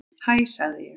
Hæ sagði ég.